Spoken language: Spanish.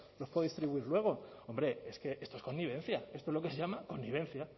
los puedo distribuir luego hombre es que esto es connivencia esto es lo que se llama connivencia